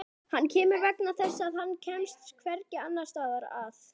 Hann kemur vegna þess að hann kemst hvergi annars staðar að.